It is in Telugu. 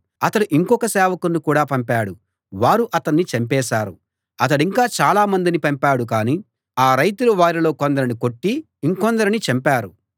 అతడు ఇంకొక సేవకుణ్ణి కూడా పంపాడు వారు అతణ్ణి చంపేశారు అతడింకా చాలా మందిని పంపాడు కాని ఆ రైతులు వారిలో కొందరిని కొట్టి ఇంకొందరిని చంపారు